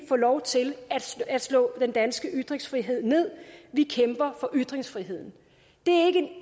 få lov til at slå den danske ytringsfrihed ned vi kæmper for ytringsfriheden det